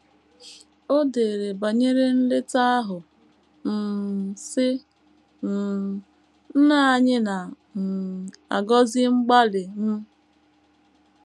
O dere banyere nleta ahụ, um sị: um “ Nna anyị na um - agọzi mgbalị m.